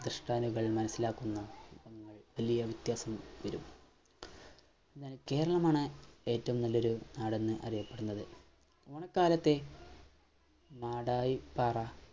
കൾ മനസ്സിലാക്കുന്ന വലിയ വ്യത്യാസങ്ങൾ വരും എന്നാൽ കേരളമാണ് ഏറ്റവും നല്ലൊരു നാടെന്ന് അറിയപ്പെടുന്നത് ഓണക്കാലത്തെ മാടായിപ്പാറ